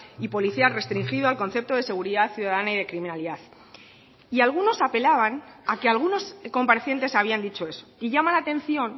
y policial restringido al concepto de seguridad ciudadana y de criminalidad y algunos apelaban a que algunos comparecientes habían dicho eso y llama la atención